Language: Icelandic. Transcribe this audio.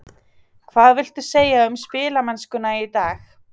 Hvað viltu segja um spilamennskuna í dag?